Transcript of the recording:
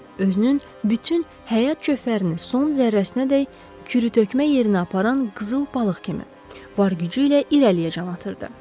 Özünün bütün həyat cövhərini son zərrəsinədək kürü tökmə yerinə aparan qızıl balıq kimi var gücü ilə irəliyə can atırdı.